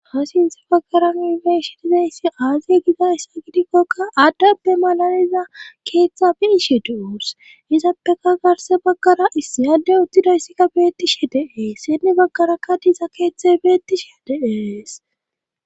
haasi issi baggara nileshidizayssi aaziye gida issa gidikkokka addappe malaliza keeththa biishe duus izattaka garse baggara issi yadde uttidayssikka beettishe deees sinni baggara kadisa keeththe beettishe de'ees